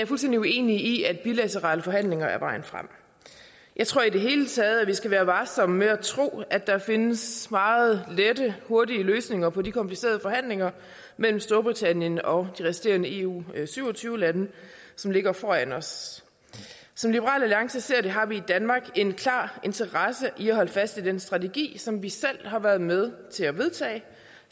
fuldstændig uenig i at bilaterale forhandlinger er vejen frem jeg tror i det hele taget at vi skal være varsomme med at tro at der findes meget lette hurtige løsninger på de komplicerede forhandlinger mellem storbritannien og de resterende eu syv og tyve lande som ligger foran os som liberal alliance ser det har vi i danmark en klar interesse i at holde fast ved den strategi som vi selv har været med til at vedtage